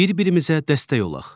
Bir-birimizə dəstək olaq.